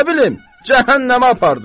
Nə bilim cəhənnəmə apardı.